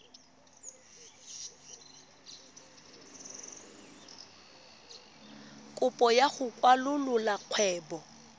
kopo ya go kwalolola kgwebo